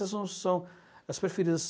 Elas não são as preferidas.